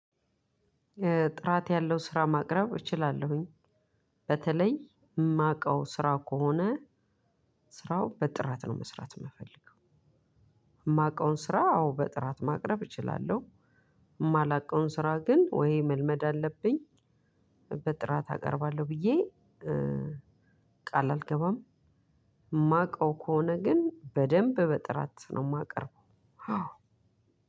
ጥራት ያለው ስራ ማቅረብ እችላለሁኝ። በተለይ የማውቀው ስራ ከሆነ ስራው በጥራት ነው መስራት የምፈልገው። የማውቀውን ስራ አዎ በጥራት ማቅረብ እችላለሁ። የማላውቀውን ስራ ግን ወይ መልመድ አለብኝ። በጥራት አቀርባለሁ ብዬ ቃል አልገባም። የማውቀው ከሆነ ግን በደንብ በጥራት ነው የማቀርበው።